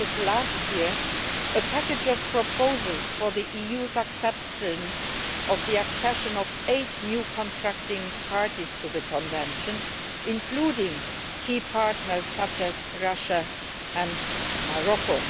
last year presented a package of proposals for the EU's acceptance of the accession of eight new contracting parties to the Convention, including key partners such as Russia and Morocco.